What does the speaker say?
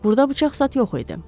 Burda bıçaq zad yox idi.